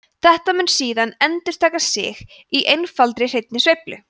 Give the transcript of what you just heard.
þetta mun síðan endurtaka sig í einfaldri hreinni sveiflu